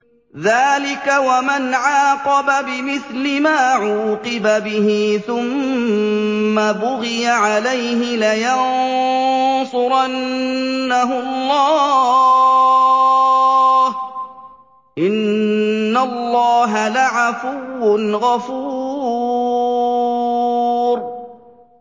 ۞ ذَٰلِكَ وَمَنْ عَاقَبَ بِمِثْلِ مَا عُوقِبَ بِهِ ثُمَّ بُغِيَ عَلَيْهِ لَيَنصُرَنَّهُ اللَّهُ ۗ إِنَّ اللَّهَ لَعَفُوٌّ غَفُورٌ